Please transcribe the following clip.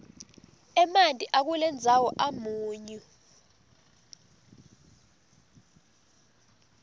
emanti akulendzawo amunyu